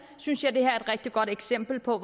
synes jeg at det er et rigtig godt eksempel på